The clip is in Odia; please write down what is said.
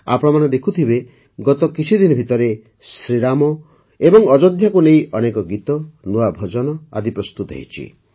ଆପଣମାନେ ଦେଖୁଥିବେ ଗତ କିଛିଦିନ ଭିତରେ ଶ୍ରୀରାମ ଓ ଅଯୋଧ୍ୟାକୁ ନେଇ ଅନେକ ଗୀତ ନୂଆ ଭଜନ ଆଦି ପ୍ରସ୍ତୁତ ହୋଇଛି